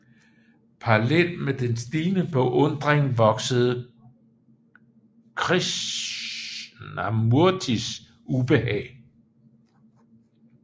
Parallelt med den stigende beundring voksede Krishnamurtis ubehag